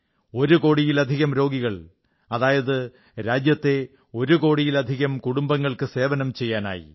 ഒരു കോടിയിലധികം രോഗികൾ അതായത് രാജ്യത്തെ ഒരു കോടിയിലധികം കുടുംബങ്ങൾക്ക് സേവനം ചെയ്യാനായി